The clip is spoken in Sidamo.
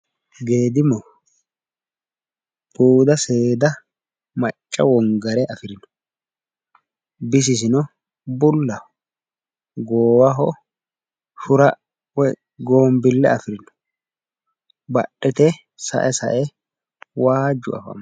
Geedimu buuda seeda macca wongare afirino. Bisisino bullaho. Goowaho shira woyi goombille afirino. Badhete sae sae waajju afammino.